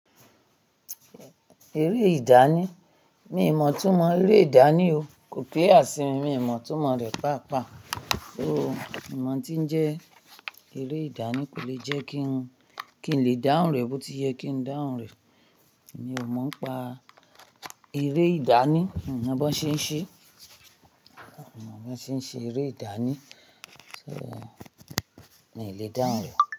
Eré ìdání, mi ò mọ̀ túmọ̀ eré ìdání o. Kò clear si mi, mi ò mọ̀ itúmọ̀ rẹ̀ pàápàá. O, mi o mo n tí ń jẹ́ eré ìdání kò lè jẹ́ kí n, kí n lè dáhùn rẹ̀ bó ti yẹ kí n dáhùn rẹ̀. Mi ò mọ̀ n pa eré ìdání, mi ò mọ̀ bí wọ́n ṣe ń ṣe, mi ò mọ̀ bí wọ́n ṣe ń ṣe eré ìdání, so náà ì lè dáhùn rẹ̀